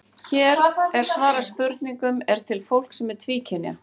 Hér er svarað spurningunum: Er til fólk sem er tvíkynja?